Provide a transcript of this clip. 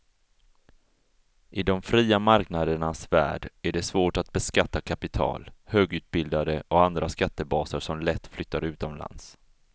I de fria marknadernas värld är det svårt att beskatta kapital, högutbildade och andra skattebaser som lätt flyttar utomlands.